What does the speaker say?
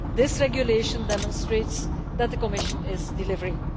This regulation demonstrates that the Commission is delivering.